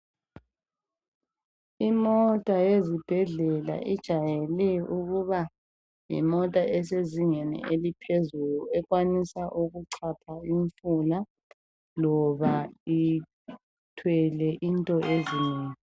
Imota yesibhedlela ejwayele ukuba yimota esezingeni eliphezulu ekwanisa ukuchapha imfula loba lithwele into ezinengi.